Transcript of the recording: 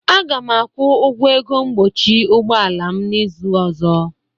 Aga m akwọ ọgwụ ego mgbochi ụgbọala m n'izuụka ọzọ.